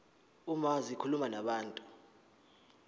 uma zikhuluma nabantu